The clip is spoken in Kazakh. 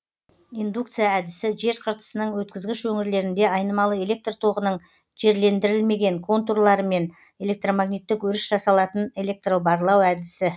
индукция әдісі жер қыртысының өткізгіш өңірлерінде айнымалы электр тоғының жерлендірілмеген контурларымен электромагниттік өріс жасалатын электробарлау әдісі